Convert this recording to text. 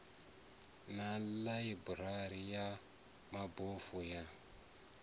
na ḽaiburari ya mabofu ya